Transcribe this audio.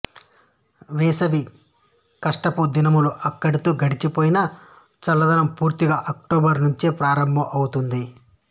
వేసవి కష్టపుదినాలు అక్కడితో గడచిపోయినా చల్లదనం పూర్తిస్థాయిలో అక్టోబరు నుంచే ప్రారంభం అవుతుంది